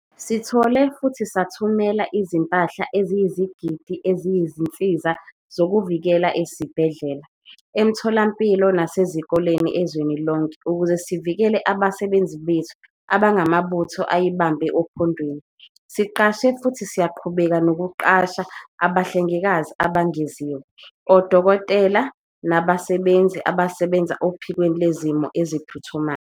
Sithole futhi sathumela izimpahla eziyizigidi eziyizinsiza zokuzivikela ezibhedlela, emitholampilo nasezikoleni ezweni lonke ukuze sivikele abasebenzi bethu abangamabutho ayibambe ophondweni. Siqashe futhi siyaqhubeka nokuqasha abahlengikazi abengeziwe, odokotela nabasebenzi abasebenza ophikweni lwezimo eziphuthumayo.